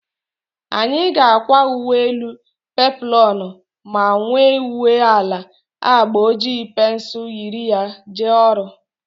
Anyị ga-akwa uwe elu peploonu ma were uwe ala agba oji pensul yiri ya jee ọrụ